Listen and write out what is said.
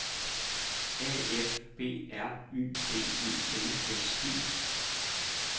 A F B R Y D E L S E